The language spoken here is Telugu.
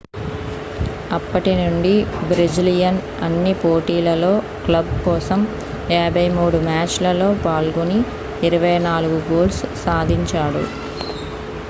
అప్పటి నుండి బ్రెజిలియన్ అన్ని పోటీలలో క్లబ్ కోసం 53 మ్యాచ్ లలో పాల్గొని 24 గోల్స్ సాధించాడు